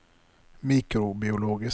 mikrobiologisk